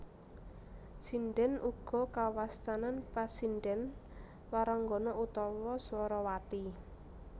Sindhèn uga kawastanan pasindhèn waranggana utawa swarawati